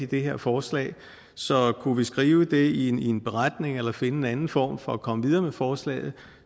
det her forslag så kunne vi skrive det i en i en beretning eller finde en anden form for at komme videre med forslaget